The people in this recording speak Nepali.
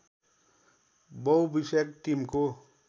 बहुविषयक टिमको